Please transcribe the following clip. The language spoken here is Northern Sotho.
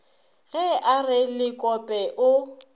ge a re lekope o